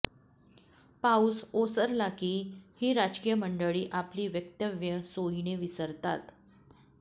पाऊस ओसरला की ही राजकीय मंडळी आपली वक्तव्ये सोयीने विसरतात